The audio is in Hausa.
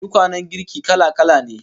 Tukwanen girki kala-kala ne